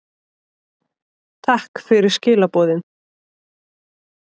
Takk fyrir skilaboðin.